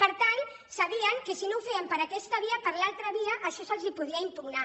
per tant sabien que si no ho feien per aquesta via per l’altra via això se’ls podia impugnar